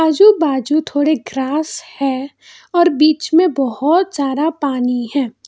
आजू बाजू थोड़े ग्रास हैं और बीच में बहुत सारा पानी है।